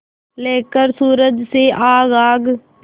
लेकर सूरज से आग आग